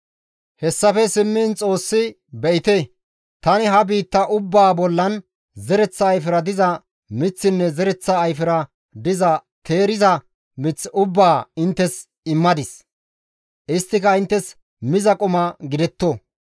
Hessafe simmiin Xoossi, «Be7ite! Tani ha biitta ubbaa bollan zereththa ayfera diza miththinne zereththa ayfera diza teeriza mith ubbaa inttes immadis; isttika inttes miza quma gidetto.